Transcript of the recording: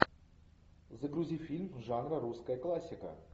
загрузи фильм жанра русская классика